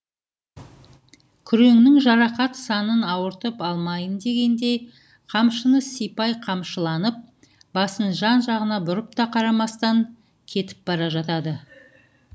күреңнің жарақат санын ауыртып алмайын дегендей қамшыны сипай қамшыланып басын жан жағына бұрып та қарамастан кетіп бара жатады